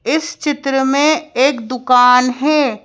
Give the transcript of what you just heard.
इस चित्र में एक दुकान है।